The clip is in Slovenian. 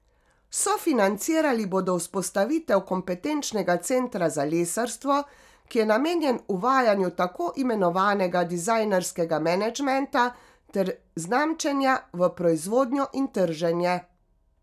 Sofinancirali bodo vzpostavitev kompetenčnega centra za lesarstvo, ki je namenjen uvajanju tako imenovanega dizajnerskega menedžmenta ter znamčenja v proizvodnjo in trženje.